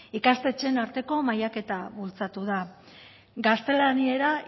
ikastetxeen arteko mailaketa bultzatu da gaztelania